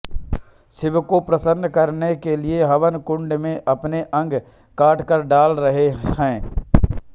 शिव को प्रसन्न करने के लिए हवन कुण्ड में अपने अंग काटकर डाल रहे हैं